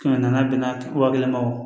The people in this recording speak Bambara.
Kɛmɛ naani bɛnna wa kelen ma